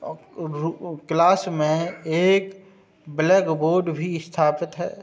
Class में एक blackboard भी स्थापित है।